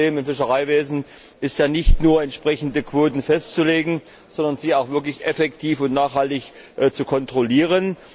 Das Hauptproblem im Fischereiwesen ist ja nicht nur, entsprechende Quoten festzulegen, sondern sie auch effektiv und nachhaltig zu kontrollieren.